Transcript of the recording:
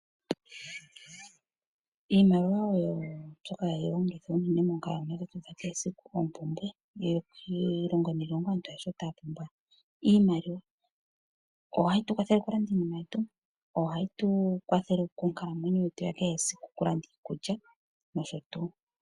Iimaliwa oyo mbyoka hayi longithwa unene monkalamwenyo dhetu dha kehe esiku oompumbwe. Iilongo niilongo aantu ayehe otaya pumbwa iimaliwa. Ohayi tu kwathele okulanda iinima yetu ohayi tu kwatha monkalamwenyo yetu ya kehe esiku okulanda iikulya nosho tuu.